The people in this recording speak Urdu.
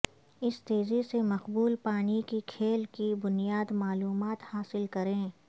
اس تیزی سے مقبول پانی کے کھیل کی بنیادی معلومات حاصل کریں